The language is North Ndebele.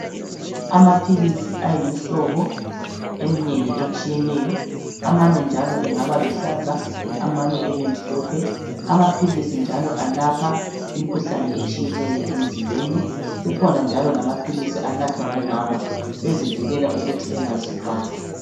Amaphilisi ayimhlobo emnengi etshiyeneyo amanye njalo angaba luhlaza amanye ebe mhlophe. Amaphilisi njalo alapha imikhuhlane etshiyeneyo emzimbeni kukhona njalo lamaphilisi anathwa ngomama bezivikela ukuthi bengazithwelo.